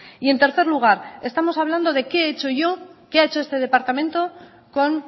y en tercer lugar estamos hablando de qué he hecho yo qué ha hecho este departamento con